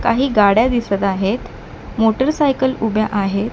काही गाड्या दिसत आहेत मोटरसायकल उभ्या आहेत.